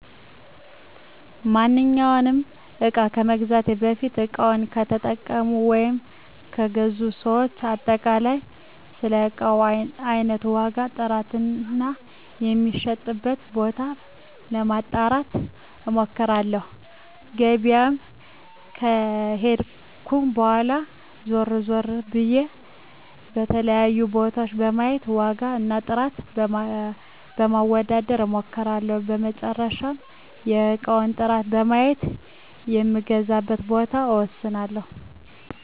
ማንኛውንም እቃ በመግዛቴ በፊት እቃውን ከተጠቀሙ ወይም ከገዙ ሰዎች አጠቃላይ ስለእቃው አይነት፣ ዋጋ፣ ጥራት እና የሚሸጥበት ቦታ ለማጣራት እምክራለሁ። ገበያም ከሄድኩም በኋላ ዞር ዞር ብየ የተለያዩ ቦታወችን በማየት ዋጋ እና ጥራት ለማወዳደር እምክለሁ። በመጨረሻም የእቃውን ጥራት በማየት የምገዛበትን ቦታ እወስናለሁ።